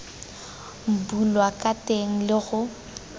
bulwa ka teng le go